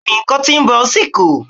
Bẹ́ẹ̀ni, cotton ball si kù.